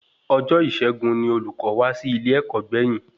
Ọjọ Isẹgun ní olùkọ wa wá sí ilẹ ẹkọ gbẹ̀yìn